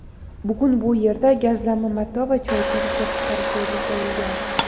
Bugun bu yerda gazlama mato va choyshab ishlab chiqarish yoʼlga qoʼyilgan.